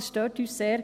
Das stört uns sehr.